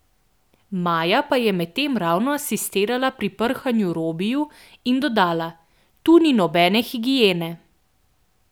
Maja pa je medtem ravno asistirala pri prhanju Robiju in dodala: "Tu ni nobene higiene.